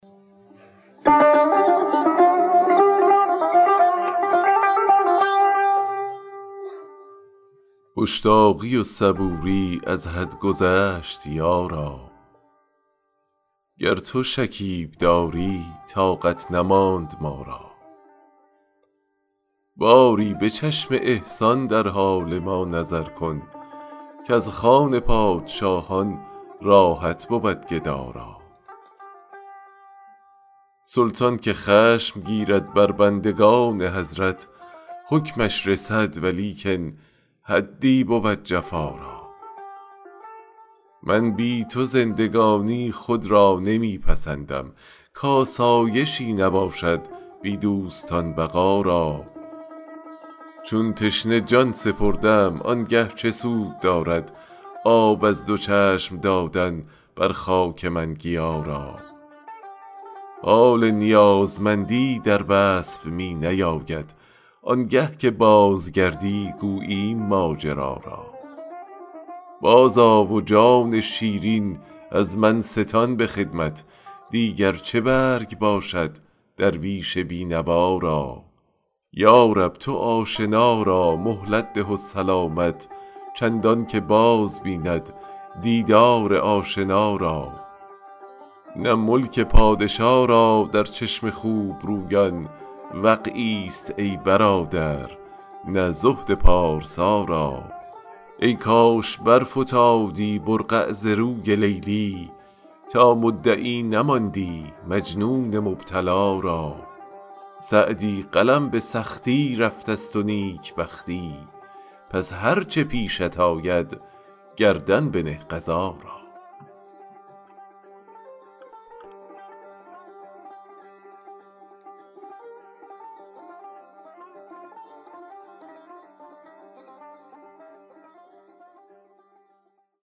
مشتاقی و صبوری از حد گذشت یارا گر تو شکیب داری طاقت نماند ما را باری به چشم احسان در حال ما نظر کن کز خوان پادشاهان راحت بود گدا را سلطان که خشم گیرد بر بندگان حضرت حکمش رسد ولیکن حدی بود جفا را من بی تو زندگانی خود را نمی پسندم کآسایشی نباشد بی دوستان بقا را چون تشنه جان سپردم آن گه چه سود دارد آب از دو چشم دادن بر خاک من گیا را حال نیازمندی در وصف می نیاید آن گه که بازگردی گوییم ماجرا را بازآ و جان شیرین از من ستان به خدمت دیگر چه برگ باشد درویش بی نوا را یا رب تو آشنا را مهلت ده و سلامت چندان که باز بیند دیدار آشنا را نه ملک پادشا را در چشم خوب رویان وقعی ست ای برادر نه زهد پارسا را ای کاش برفتادی برقع ز روی لیلی تا مدعی نماندی مجنون مبتلا را سعدی قلم به سختی رفته ست و نیک بختی پس هر چه پیشت آید گردن بنه قضا را